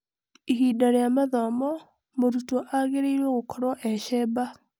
Ihinda rĩa mathomo, mũrutwo agĩrĩirwo gũkorwo e-cemba.